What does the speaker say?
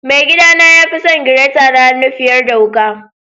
Mai gida na ya fi son gireta na hannu fiyar da wuka.